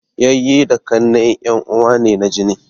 Yayyi da ƙannai en uwa ne na jini